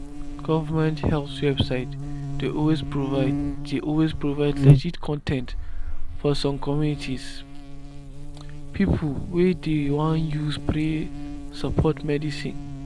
government health website dey always provide dey always provide legit con ten t for some communities people wa dey won use pray support medicine.